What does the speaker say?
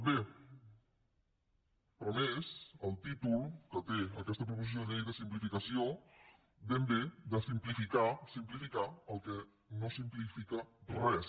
bé però a més el títol que té aquesta proposició de llei de simplificació ben bé de simplificar simplificar no simplifica res